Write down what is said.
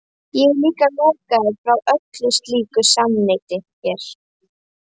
Ég er líka lokaður frá öllu slíku samneyti hér.